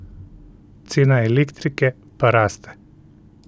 Cena elektrike pa raste.